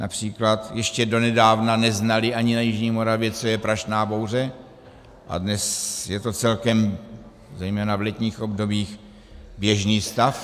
Například ještě donedávna neznali ani na jižní Moravě, co je prašná bouře a dnes je to celkem - zejména v letních obdobích - běžný stav.